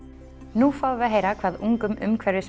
nú fáum við að heyra hvað ungum